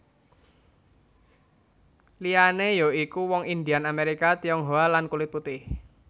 Liyane ya iku wong Indian Amerika Tionghoa lan kulit putih